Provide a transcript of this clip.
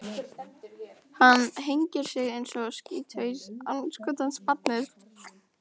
Fréttamaður: Ertu þá að segja að þú fagnir þessari niðurstöðu?